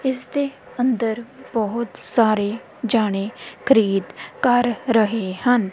ਇਸ ਦੇ ਅੰਦਰ ਬਹੁਤ ਸਾਰੇ ਜਾਣੇ ਖਰੀਦ ਕਰ ਰਹੇ ਹਨ।